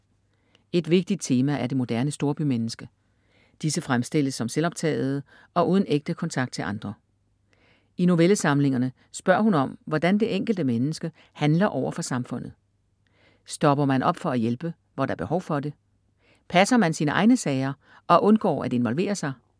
Et vigtigt tema er det moderne storbymenneske. Disse fremstilles som selvoptagede og uden ægte kontakt til andre. I novellesamlingerne spørger hun om hvordan det enkelte menneske handler overfor samfundet. Stopper man op for at hjælpe, hvor der er behov for det? Passer man sine egne sager og undgår at involvere sig?